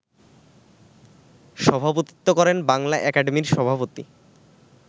সভাপতিত্ব করেন বাংলা একাডেমির সভাপতি